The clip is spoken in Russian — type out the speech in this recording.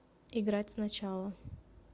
играть сначала